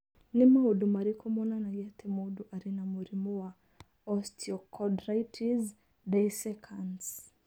Nĩ maũndũ marĩkũ monanagia atĩ mũndũ arĩ na mũrimũ wa osteochondritis dissecans?